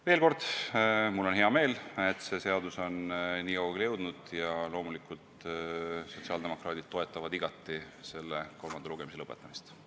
Veel kord, mul on hea meel, et see seadus on nii kaugele jõudnud, ja loomulikult toetavad sotsiaaldemokraadid selle kolmanda lugemise lõpetamist.